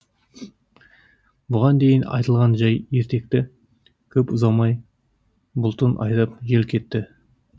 бұған дейін айтылған жай ертекті көп ұзамай бұлтын айдап жел кетті